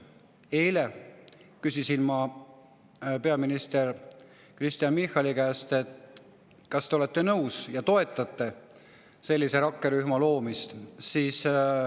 Eile küsisin ma peaminister Kristen Michali käest, kas ta on nõus ja kas ta toetab sellise rakkerühma loomist.